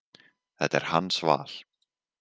Þetta er hans val.